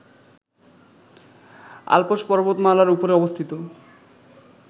Alps পর্বতমালার উপরে অবস্থিত